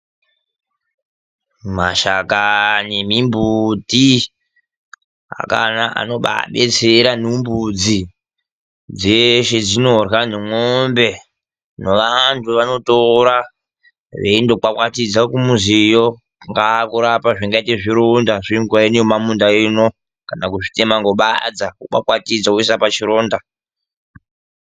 Mashakanyli emimbuti akanaka anobaadetsera nombudzi, zveshe zvinorya nemwombe, neanthu vanotora veindokwakwatidza kumuziyo, kungaa kurapa zvingaite zvironda zvenguwa ino yemumamunda ino, kana kuzvitema ngebadza wokwakwatidza woisa pachironda.